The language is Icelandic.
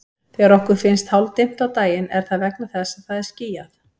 Þegar okkur finnst hálfdimmt á daginn er það vegna þess að það er skýjað.